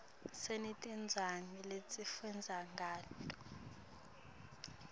sinetincwadzi lesifundza ngato